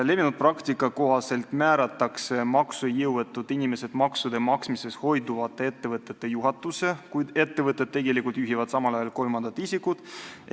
Levinud praktika kohaselt määratakse maksejõuetud inimesed maksude maksmisest hoiduvate ettevõtete juhatusse, kuid tegelikult juhivad ettevõtet samal ajal kolmandad isikud.